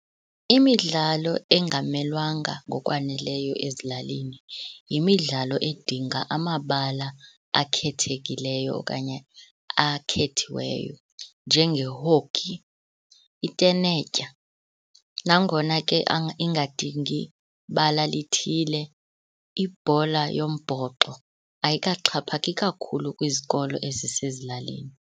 Imidlalo engamelwanga ngokwaneleyo ezilalini yimidlalo edinga amabala akhethekileyo okanye akhethiweyo, njenge-hockey, itenetya. Nangona ke ingadingi bala lithile ibhola yombhoxo ayikaxhaphaki kakhulu kwizikolo ezisezilalini.